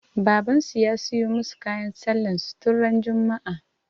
Baban su ya siyu musa kayan sallah su tun ran juma'a